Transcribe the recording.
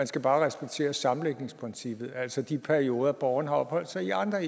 skal bare acceptere sammenlægningsprincippet altså de perioder borgeren har opholdt sig i andre